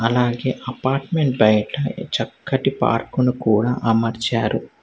అలాగే అపార్ట్మెంట్ బయట చక్కటి పార్కును కూడా అమర్చారు.